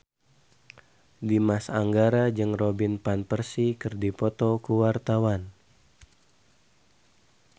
Dimas Anggara jeung Robin Van Persie keur dipoto ku wartawan